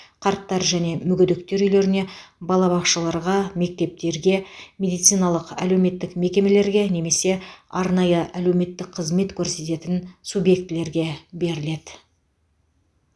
қарттар және мүгедектер үйлеріне балабақшаларға мектептерге медициналық әлеуметтік мекемелерге немесе арнайы әлеуметтік қызмет көрсететін субъектілерге беріледі